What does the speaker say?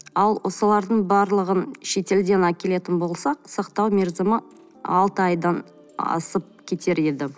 ал солардың барлығын шетелден әкелетін болсақ сақтау мерзімі алты айдан асып кетер еді